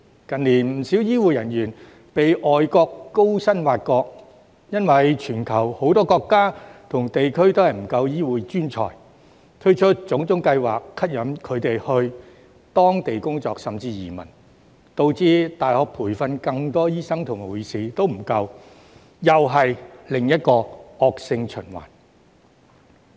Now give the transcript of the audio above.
近年不少醫護人員被外國高薪挖角，因為全球很多國家和地區均沒有足夠醫護專才，所以推出各種計劃吸引他們到當地工作，甚至移民，導致大學培訓更多醫生和護士也不足夠，這又是另一個惡性循環。